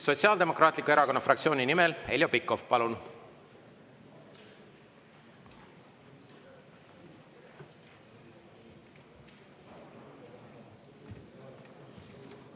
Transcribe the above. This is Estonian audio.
Sotsiaaldemokraatliku Erakonna fraktsiooni nimel Heljo Pikhof, palun!